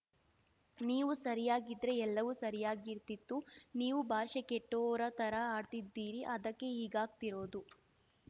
ನೀವು ಸರಿಯಾಗಿದ್ರೆ ಎಲ್ಲವೂ ಸರಿಯಾಗಿರ್ತಿತ್ತು ನೀವು ಭಾಷೆ ಕೆಟ್ಟೋರ ಥರ ಆಡ್ತಿದ್ದೀರಿ ಅದಕ್ಕೇ ಹೀಗಾಗ್ತಿರೋದು